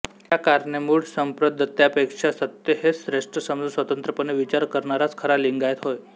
या कारणे मुढ संप्रदत्यापेक्षा सत्य हेच श्रेष्ठ समजून स्वतंत्रपणे विचार करणाराच खरा लिंगायत होय